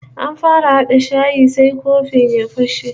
An fara hada shayi sai kofin ya fashe